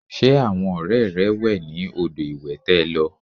Ṣé àwọn ọrẹ rẹ wẹ ní odò ìwẹ̀ tẹ lọ?